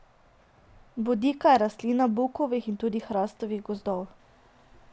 Bodika je rastlina bukovih in tudi hrastovih gozdov.